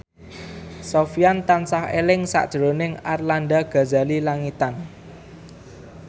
Sofyan tansah eling sakjroning Arlanda Ghazali Langitan